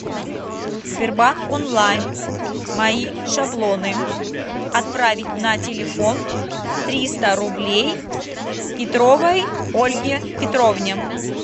сбербанк онлайн мои шаблоны отправить на телефон триста рублей петровой ольге петровне